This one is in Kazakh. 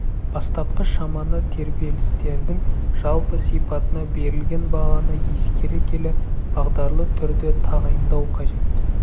бастапқы шаманы тербелістердің жалпы сипатына берілген бағаны ескере келе бағдарлы түрде тағайындау қажет